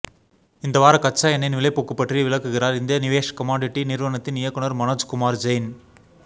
இந்த வாரம் கச்சா எண்ணெய்யின் விலைப்போக்கு பற்றி விளக்குகிறார் இந்தியா நிவேஷ் கமாடிட்டி நிறுவனத்தின் இயக்குநர் மனோஜ் குமார் ஜெயின்